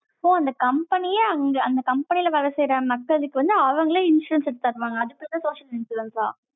so அந்த company யே அங்க, அந்த company ல வேலை செய்யற, மத்ததுக்கு வந்து, அவங்களே insurance எடுத்து தருவாங்க. அதுக்கப்புறம், social insurance ஆ?